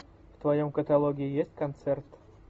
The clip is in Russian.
в твоем каталоге есть концерт